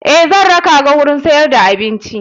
Eh zakaranka gurin siyar da abinci.